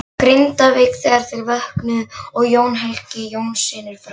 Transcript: Grindavík þegar þeir vöknuðu, Jón og Helgi Jónssynir frá